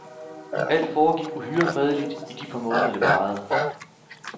Alt foregik uhyre fredeligt i de par måneder det varede.